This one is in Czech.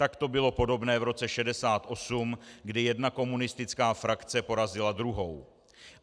Tak to bylo podobné v roce 1968, kdy jedna komunistická frakce porazila druhou.